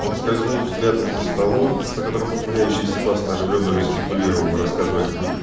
он скользнул взглядом по столу за которым ухмыляющийся баста оживлённо жестикулировал рассказывая какую-то